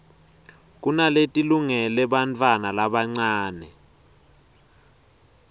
kunaletilungele bantfwana labancane